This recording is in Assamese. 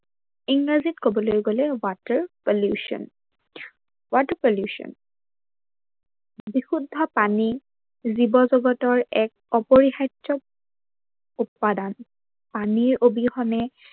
ইংৰাজীত কবলৈ গলে water pollution, water pollution বিশুদ্ধ পানী জীৱজগতৰ এক অপৰিহাৰ্য উপাদান। পানীৰ অবিহনে